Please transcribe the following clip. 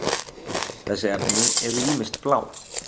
þessi efni eru ýmist blá